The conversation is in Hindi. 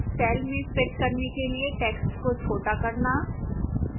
cell में fit करने के लिए text को छोटा करना